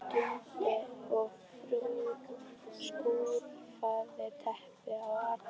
Stundi og skrúfaði tappann á aftur.